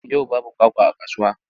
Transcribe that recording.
Yau babu kwakwa a kasuwa.